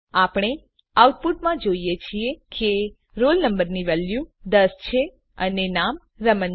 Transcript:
આપણે આઉટપુટમાં જોઈએ છીએ કે roll number ની વેલ્યુ દસ છે અને નામ રમણ છે